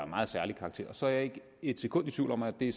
meget særlig karakter og så er jeg ikke et sekund i tvivl om at det